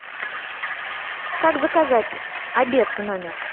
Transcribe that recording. как заказать обед в номер